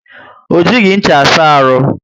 O jighi ncha asa aru